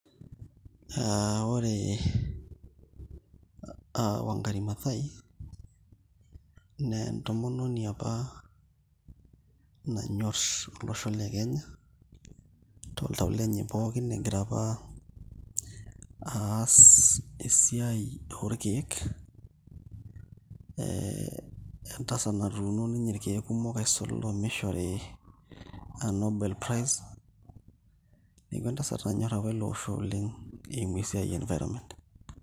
Ore aa Wangari Mathaai naa entomononi apa olosho le Kenya toltau lenye pookin, kegira apa aas esiai oorkeek, entasat natuuno ninye irkeek kumok aisul nelo omishori nobel prize neeku entasat nanyorr apa ele osho oleng' eimu esiai e environment.